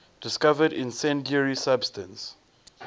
discovered incendiary substance